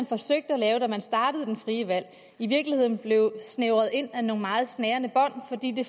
forsøgte at lave da det frie valg blev i virkeligheden blev snævret ind af nogle meget snærende bånd fordi det